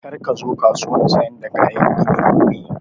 Kar ka zo kasuwan sayar da kayan gini gobe!